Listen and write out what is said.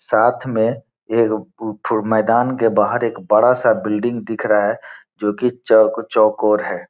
साथ में एक मैदान के बाहर एक बड़ा सा बिल्डिंग दिख रहा है जो की चौक चौकोर है।